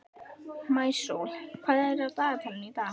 Maísól, hvað er á dagatalinu í dag?